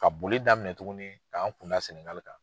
Ka boli daminɛ tuguni k'an kunda Senegali kan.